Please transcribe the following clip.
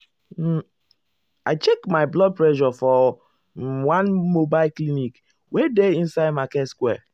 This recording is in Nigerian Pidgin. um i check my blood pressure for um one mobile clinic wey dey inside market square.